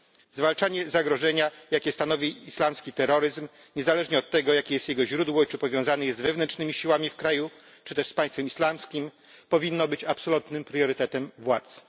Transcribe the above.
Zwalczanie zagrożenia, jakie stanowi islamski terroryzm niezależnie od tego, jakie jest jego źródło i czy powiązany jest z wewnętrznymi siłami w kraju, czy też z Państwem Islamskim powinno być absolutnym priorytetem władz.